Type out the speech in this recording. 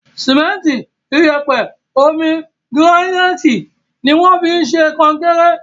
Sìmẹ́ntì, iyẹ̀pẹ̀, omi, gíránáìtì ni wọ́n fi ń ṣe kọnkéré.